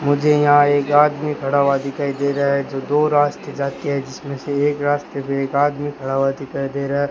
मुझे यहां एक आदमी खड़ा हुआ दिखाई दे रहा है जो दो रास्ते जाती है जिसमें से एक रास्ते पे एक आदमी खड़ा हुआ दिखाई दे रहा है।